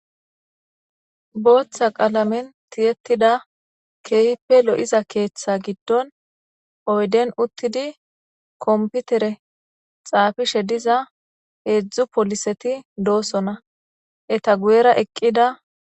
booththa qaalamen tiyettida keehipe lo7iza keeththe giddon oyden uttidi komputere xaafishe diza heedzdzu poliseti doosona eta guyera eqqida